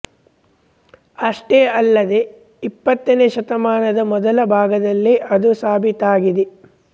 ಅಷ್ಟೇ ಅಲ್ಲದೇ ಇಪ್ಪತ್ತನೇ ಶತಮಾನದ ಮೊದಲ ಭಾಗದಲ್ಲೇ ಅದು ಸಾಭೀತಾಗಿದೆ